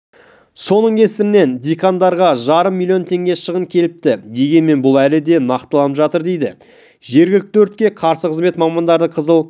соның кесірінен диқандарға жарым млн теңге шығын келіпті дегенмен бұл әлі де нақтыланып жатыр дейді жергілікті өртке қарсы қызмет мамандары қызыл